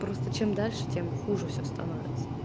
просто чем дальше тем хуже всё становится